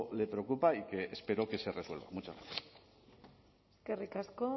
le preocupa y que espero que se resuelva muchas gracias eskerrik asko